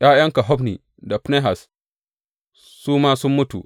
’Ya’yanka Hofni da Finehas su ma sun mutu.